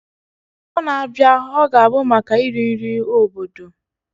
Afọ na-abịa ọ ga-abụ maka iri nri obodo?